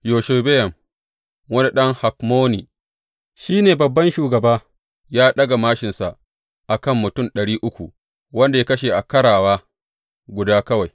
Yashobeyam wani ɗan Hakmoni, shi ne babban shugaba; ya ɗaga māshinsa a kan mutum ɗari uku, waɗanda ya kashe a ƙarawa guda kawai.